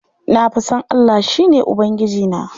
Na fa san Allah, shi ne Ubangijina.